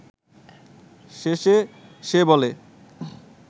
শেষে সে বলে